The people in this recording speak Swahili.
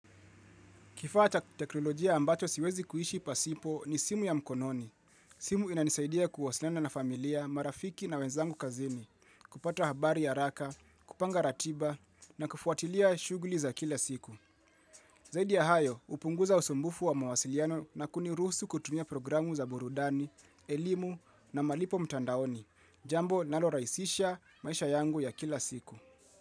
Kifaa teknolojia ambacho siwezi kuishi pasipo ni simu ya mkononi. Simu inanisaidia kuwasiliana na familia, marafiki na wenzangu kazini, kupata habari ya haraka, kupanga ratiba na kufuatilia shughuli za kila siku. Zaidi ya hayo, hupunguza usumbufu wa mawasiliano na kuniruhusu kutumia programu za burudani, elimu na malipo mtandaoni. Jambo linalorahisisha maisha yangu ya kila siku.